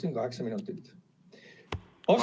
Palun kaheksa minutit!